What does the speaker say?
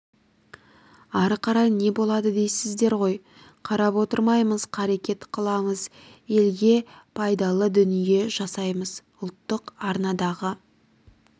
ары қарай не болады дейсіздер ғой қарап отырмаймыз қарекет қыламыз елге пайдалы дүние жасаймыз ұлттық арнадағы